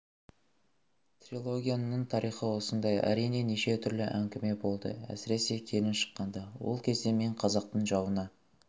трилогияның тарихы осындай әрине неше түрлі әңгіме болды әсіресе келін шыққанда ол кезде мен қазақтың жауына